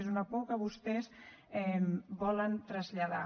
és una por que vostès volen traslladar